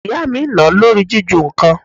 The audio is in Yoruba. Ìyá mi nà-án lórí jiju nǹkan.